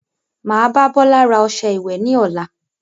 Máa bá Bọlá ra ọsẹ ìwẹ̀ ni ọ̀la